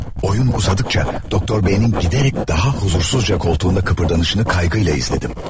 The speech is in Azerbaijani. Oyun uzadıkça Doktor B-nin gidərək daha huzursuzca koltuğunda kıpırdanışını kaygıyla izlədim.